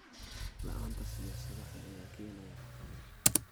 La'aanta siyaasado cad ayaa keenaya caqabad.